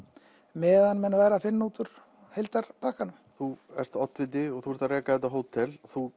meðan menn væru að finna út úr heildarpakkanum þú ert oddviti og þú ert að reka þetta hótel og þú